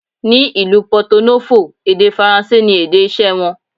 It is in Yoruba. Ni ìlú Pọto Nófò, èdè Faransé ni èdè iṣẹ́ wọn.